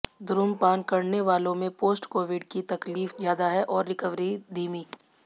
धूम्रपान करने वालों में पोस्ट कोविड की तकलीफ़ ज़्यादा है और रिकवरी धीमी